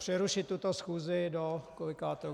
Přerušit tuto schůzi do kolikátého?